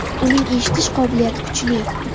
Uning eshitish qobiliyati kuchli.